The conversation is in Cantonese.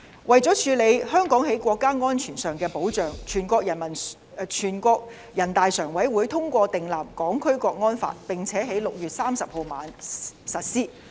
為了處理香港在國家安全上的保障，全國人民代表大會常務委員會通過訂立《香港國安法》，並在6月30日晚上實施。